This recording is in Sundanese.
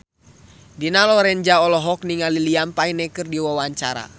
Dina Lorenza olohok ningali Liam Payne keur diwawancara